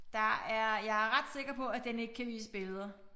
Der er jeg er ret sikker på at den ikke kan vise billeder